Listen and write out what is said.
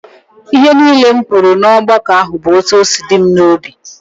Ihe niile m kwuru n'ọgbakọ ahụ bụ etu ọ si dị m n'obi